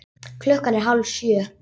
Klukkan er hálf sjö.